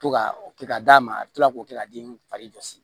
To ka o kɛ ka d'a ma a bɛ kila k'o kɛ ka den fari jɔsi